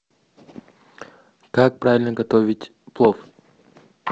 как правильно готовить плов